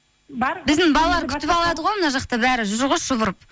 бар біздің балалар күтіп алады ғой мына жақта бәрі жүр ғой шұбырып